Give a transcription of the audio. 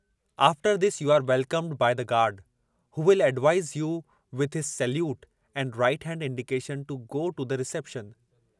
After this you are welcomed by the guard, who will advise you with his salute and right hand indication to go to the reception.